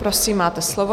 Prosím, máte slovo.